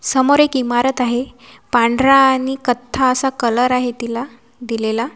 समोर एक इमारत आहे पांढरा आणि कथ्था असा कलर आहे तिला दिलेला.